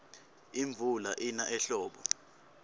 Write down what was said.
imvula ina ehlobo